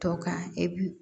Tɔ kan e bi